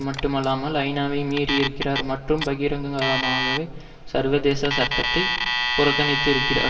மட்டுமல்லாமல் ஐநாவை மீறி இருக்கிறார் மற்றும் பகி பகிரங்கமாகவே சர்வதேச சட்டத்தை புறக்கணித்து இருக்கிறார்